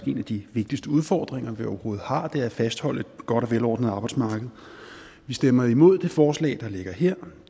en af de vigtigste udfordringer vi overhovedet har er faktisk at fastholde et godt og velordnet arbejdsmarked vi stemmer imod det forslag der ligger her